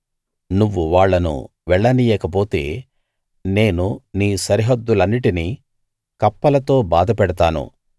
నువ్వు వాళ్ళను వెళ్ళనీయకపోతే నేను నీ సరిహద్దులన్నిటినీ కప్పలతో బాధ పెడతాను